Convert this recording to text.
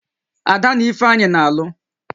Ada na Ifeanyị na-alụ